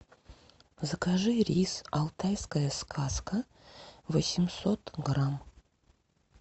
закажи рис алтайская сказка восемьсот грамм